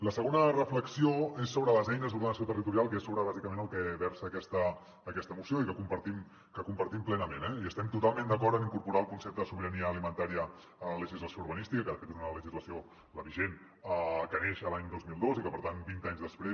la segona reflexió és sobre les eines d’ordenació territorial que és sobre bàsicament el que versa aquesta moció i que compartim plenament eh estem totalment d’acord amb incorporar el concepte de sobirania alimentària a la legislació urbanística que de fet és una legislació la vigent que neix l’any dos mil dos i que per tant vint anys després